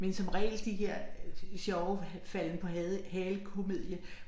Men som regel de her øh sjove falde på halen-komedie